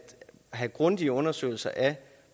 have grundige undersøgelser af